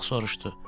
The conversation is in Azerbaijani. Ulaq soruşdu: